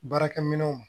Baarakɛminɛnw